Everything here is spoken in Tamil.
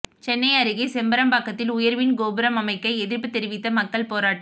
சென்னை அருகே செம்பாக்கத்தில் உயர்மின் கோபுரம் அமைக்க எதிர்ப்பு தெரிவித்து மக்கள் போராட்டம்